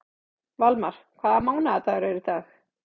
Valmar, hvaða mánaðardagur er í dag?